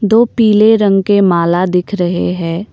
दो पीले रंग के माला दिख रहे हैं।